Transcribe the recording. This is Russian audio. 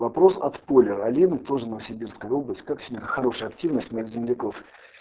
вопрос от поли один тоже новосибирская область как сегодня хорошая активность меж земляков